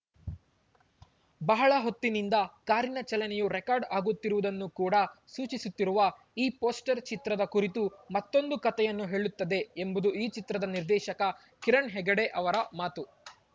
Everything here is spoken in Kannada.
ಬಹಳ ಹೊತ್ತಿನಿಂದ ಕಾರಿನ ಚಲನೆಯು ರೆಕಾರ್ಡ್‌ ಆಗುತ್ತಿರುವುದನ್ನು ಕೂಡಾ ಸೂಚಿಸುತ್ತಿರುವ ಈ ಪೋಸ್ಟರ್‌ ಚಿತ್ರದ ಕುರಿತು ಮತ್ತೊಂದು ಕತೆಯನ್ನು ಹೇಳುತ್ತದೆ ಎಂಬುದು ಚಿತ್ರದ ನಿರ್ದೇಶಕ ಕಿರಣ್‌ ಹೆಗಡೆ ಅವರ ಮಾತು